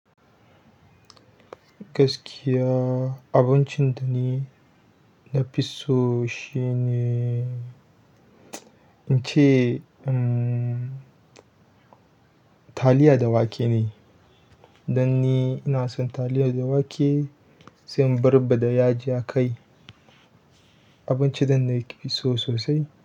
Gaskiya abincin da ni nafi so shine, inche, um, taliya da wake ne. Dan ni ina son taliya da wake sai in barbaɗa bada yaji a kai. Abinci da nake so sosai.